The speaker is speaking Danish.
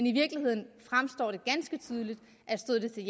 i virkeligheden fremstår det ganske tydeligt at stod det til